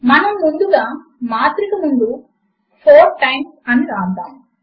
మనము ముందుగా మాత్రిక ముందు 4 టైమ్స్ అని వ్రాద్దాము